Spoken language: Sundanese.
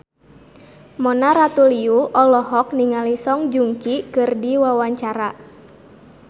Mona Ratuliu olohok ningali Song Joong Ki keur diwawancara